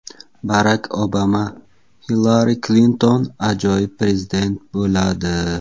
Barak Obama: Hillari Klinton ajoyib prezident bo‘ladi.